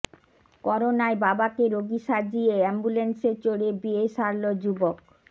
করোনায় বাবাকে রোগী সাজিয়ে অ্যাম্বুল্যান্সে চড়ে বিয়ে সারল যুবক